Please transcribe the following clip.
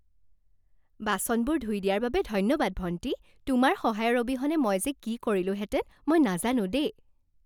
বাচনবোৰ ধুই দিয়াৰ বাবে ধন্যবাদ ভণ্টী। তোমাৰ সহায়ৰ অবিহনে মই যে কি কৰিলোহেঁতেন মই নাজানো দেই।